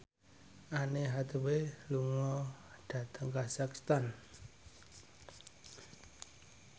Anne Hathaway lunga dhateng kazakhstan